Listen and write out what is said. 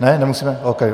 Ne, nemusíme, ok.